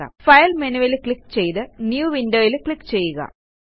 file menuവിൽ click ചെയ്ത് new Windowയിൽ ക്ലിക്ക് ചെയ്യുക